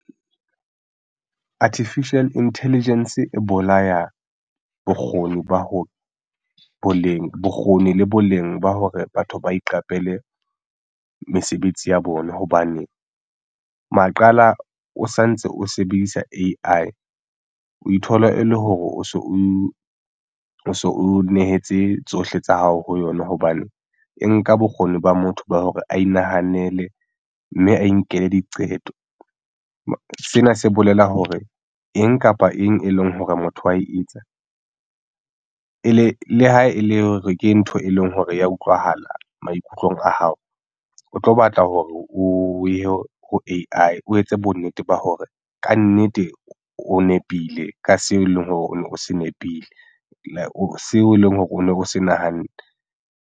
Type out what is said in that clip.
Artificial Intelligence e bolaya bokgoni ba ho boleng bokgoni le boleng ba hore batho ba iqapele mesebetsi ya bona hobane maqala o santse o sebedisa A_I o ithola e le hore o so o nehetse tsohle tsa hao ho yona, hobane e nka bokgoni ba motho ba hore a inahanele mme a inkela diqeto. Sena se bolela hore eng kapa eng e leng hore motho wa etsa ele le ha e le hore ke ntho e leng hore ya utlwahala maikutlong a hao. O tlo batla hore o ye ho A_I o etse bonnete ba hore kannete o nepile ka seo eleng hore o se nepile o seo eleng hore o no se nahanne.